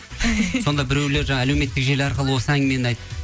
сонда біреулер жаңағы әлеуметтік желі арқылы осы әңгімені айт